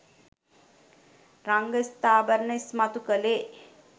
රංග ස්ත්‍රාභරණ ඉස්මතු කළේ